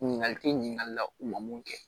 Ɲininkali tɛ ɲininkali la u ma mun kɛ